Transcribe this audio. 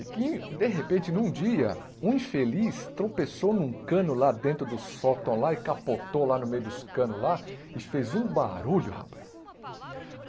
E que, de repente, num dia, um infeliz tropeçou num cano lá dentro do sótão lá e capotou lá no meio dos canos lá e fez um barulho, rapaz.